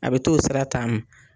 A bɛ t'o sra taama.